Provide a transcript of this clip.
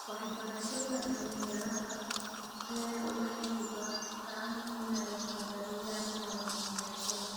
Waxbarashada, dhalinyarada rer waxay bartaan inay qadariyaan kala duwanaanshaha.